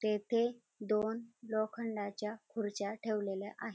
तेथे दोन लोखंडाच्या खुर्च्या ठेवलेल्या आहेत.